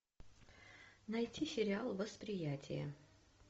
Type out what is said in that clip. найти сериал восприятие